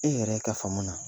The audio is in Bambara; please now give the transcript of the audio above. E yɛrɛ ka faamu na